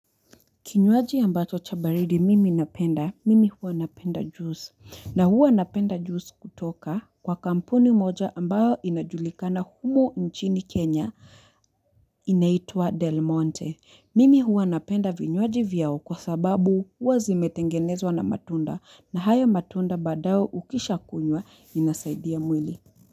Kinywaji ambacho chabaridi mimi napenda, mimi huwa napenda juice. Na huwa napenda juice kutoka kwa kampuni moja ambayo inajulikana humu nchini Kenya inaitua Del Monte. Mimi huwa napenda vinywaji vyao kwa sababu huwa zimetengenezwa na matunda na haya matunda badao ukisha kunywa inasaidia mwili.